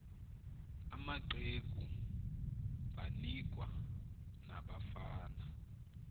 amaqegu banikwa nabafana